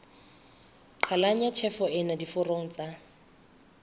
qhalanya tjhefo ena diforong tsa